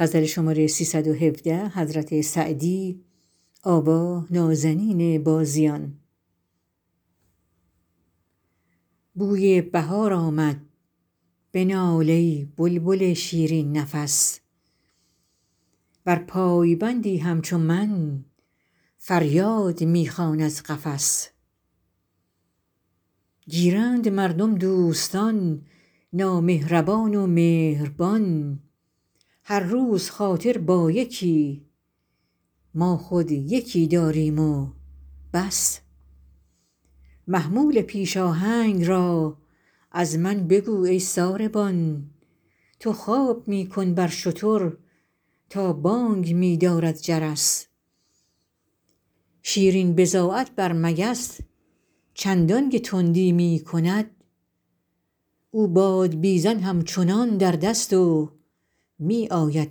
بوی بهار آمد بنال ای بلبل شیرین نفس ور پایبندی همچو من فریاد می خوان از قفس گیرند مردم دوستان نامهربان و مهربان هر روز خاطر با یکی ما خود یکی داریم و بس محمول پیش آهنگ را از من بگو ای ساربان تو خواب می کن بر شتر تا بانگ می دارد جرس شیرین بضاعت بر مگس چندان که تندی می کند او بادبیزن همچنان در دست و می آید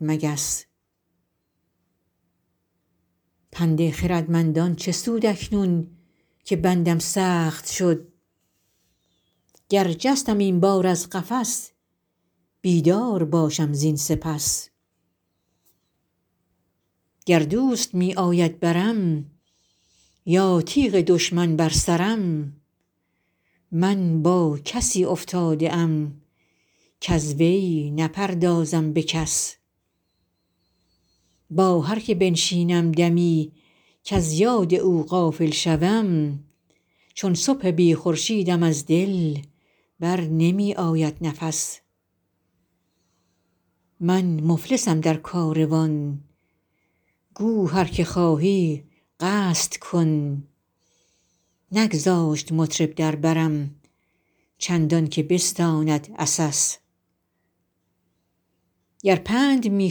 مگس پند خردمندان چه سود اکنون که بندم سخت شد گر جستم این بار از قفس بیدار باشم زین سپس گر دوست می آید برم یا تیغ دشمن بر سرم من با کسی افتاده ام کز وی نپردازم به کس با هر که بنشینم دمی کز یاد او غافل شوم چون صبح بی خورشیدم از دل بر نمی آید نفس من مفلسم در کاروان گو هر که خواهی قصد کن نگذاشت مطرب در برم چندان که بستاند عسس گر پند می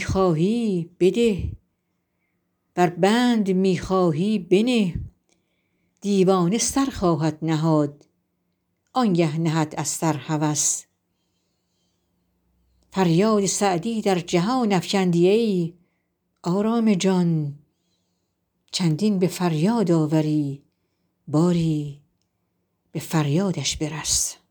خواهی بده ور بند می خواهی بنه دیوانه سر خواهد نهاد آن گه نهد از سر هوس فریاد سعدی در جهان افکندی ای آرام جان چندین به فریاد آوری باری به فریادش برس